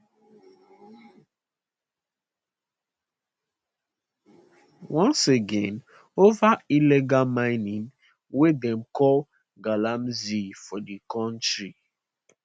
once again ova illegal mining wey dem call galamsey for di kontri